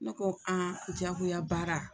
Ne ko diyagoya baara